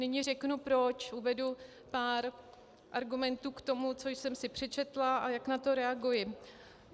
Nyní řeknu proč, uvedu pár argumentů k tomu, co jsem si přečetla a jak na to reaguji.